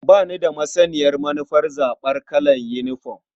Ba ni da masaniyar manufar zaɓar kalar yinifom.